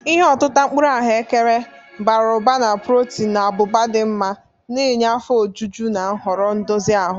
Ihe otita mkpuru ahụekere, bara ụba na protin na abụba dị mma, na-enye afọ ojuju na nhoro ndozi ahụ.